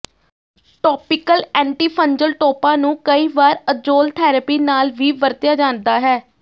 topical antifungal ਟੌਪਾਂ ਨੂੰ ਕਈ ਵਾਰ ਅਜ਼ੋਲ ਥੈਰੇਪੀ ਨਾਲ ਵੀ ਵਰਤਿਆ ਜਾਂਦਾ ਹੈ